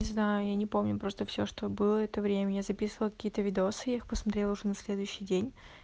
не знаю я не помню просто всё что было это время я записывала какие-то видосы я их посмотрела уже на следующий день